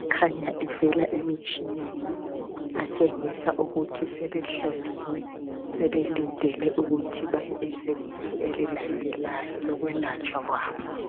akhanya evela emitshineni atshengisa ukuthi sebehloliwe sebelindele ukuthi baye ezingeni elilandelayo lokwelatshwa kwabo.